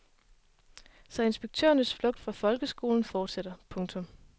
Så inspektørernes flugt fra folkeskolen fortsætter. punktum